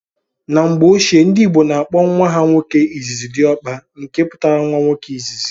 N'mgbe ochie ndị ìgbo na akpo nwa ha nwoke izizi "Diokpa", nke pụtara nwa nwoke izizi.